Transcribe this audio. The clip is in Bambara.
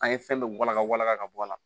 An ye fɛn bɛɛ wala wala ka bɔ a la